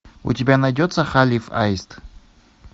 у тебя найдется халиф аист